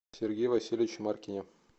сергее васильевиче маркине